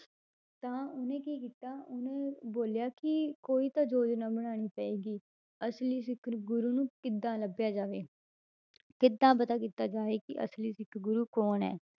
ਤਾਂ ਉਹਨੇ ਕੀ ਕੀਤਾ ਉਹਨੇ ਬੋਲਿਆ ਕਿ ਕੋਈ ਤਾਂ ਯੋਜਨਾ ਬਣਾਉਣੀ ਪਏਗਾ ਅਸਲੀ ਸਿੱਖ ਗੁਰੂ ਨੂੰ ਕਿੱਦਾਂ ਲੱਭਿਆ ਜਾਵੇ ਕਿੱਦਾਂ ਪਤਾ ਕੀਤਾ ਜਾਵੇ ਕਿ ਅਸਲੀ ਸਿੱਖ ਗੁਰੂ ਕੌਣ ਹੈ,